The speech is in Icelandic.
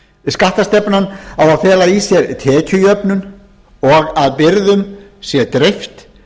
skattastefnan á að fela í sér tekjujöfnun og að byrðum sé dreift